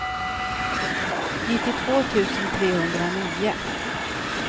nittiotvå tusen trehundranio